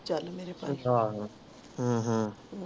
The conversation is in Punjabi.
ਤੂੰ ਚਾਲ ਮੇਰੇ ਭਾਈ ਹਮ ਹਮ